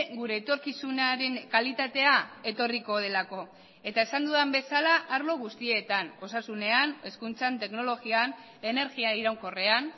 gure etorkizunaren kalitatea etorriko delako eta esan dudan bezala arlo guztietan osasunean hezkuntzan teknologian energia iraunkorrean